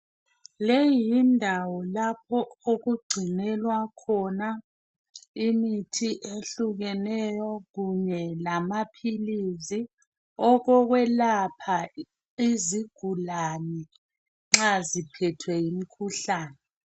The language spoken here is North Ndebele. Leyi yindawo lapho okugcinelwa khona imithi ehlukeneyo kunye lamaphilizi okokwelapha izigulane nxa ziphethwe yimkhuhlane.